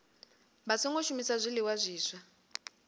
vha songo shumisa zwiliṅwa zwiswa